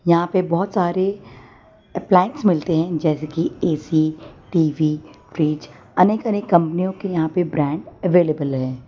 यहां पे बहोत सारे अप्लायंस मिलते हैं जैसे कि ए_सी टी_वी फ्रिज अनेक अनेक कंपनियों के यहां पे ब्रांड अवेलेबल है।